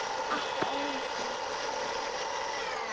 Ekki einu sinni pabbi hennar.